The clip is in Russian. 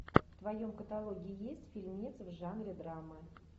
в твоем каталоге есть фильмец в жанре драма